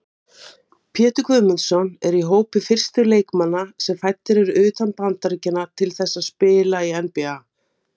Gott er að halda bleiunni frá líkamanum með útréttri hendi til að hlífa nefinu.